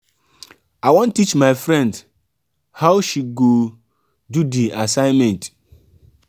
i wan teach my friend how she go do di assignment.